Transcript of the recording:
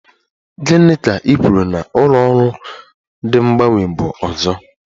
Gị ka i kwuru a ụlọ ọrụ de mgbanwe bụ ọzọ?